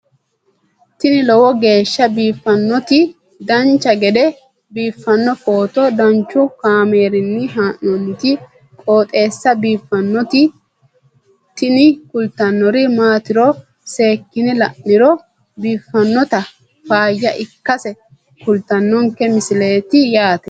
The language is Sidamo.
tini lowo geeshsha biiffannoti dancha gede biiffanno footo danchu kaameerinni haa'noonniti qooxeessa biiffannoti tini kultannori maatiro seekkine la'niro biiffannota faayya ikkase kultannoke misileeti yaate